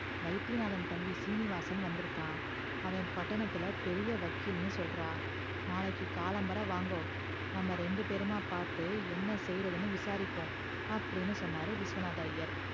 வைத்தியநாதன் தம்பி சீனிவாசன் வந்து இருக்கா அவ பட்டணத்துல பெரிய வக்கீல்னு சொல்றா நாளைக்கி காலம்பர வாங்கோ நாம ரெண்டு பெறுமா பாத்து என்ன செய்யறதுன்னு விசாரிப்போம் அப்டின்னு சொன்னார் விஸ்வநாத ஐயர்